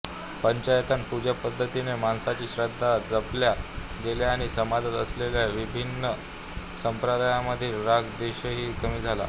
पंचायतन पूजापद्धतीने माणसांच्या श्रद्धा जपल्या गेल्या आणि समाजात असलेला विभिन्न संप्रदायांमधील राग द्वेषही कमी झाला